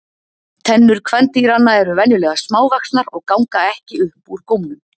Tennur kvendýranna eru venjulega smávaxnar og ganga ekki upp úr gómnum.